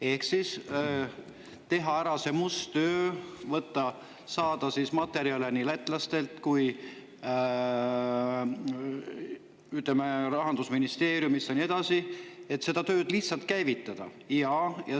Ehk siis teha ära see must töö, saada materjale nii lätlastelt kui ka Rahandusministeeriumist ja nii edasi, et see töö lihtsalt käivitada.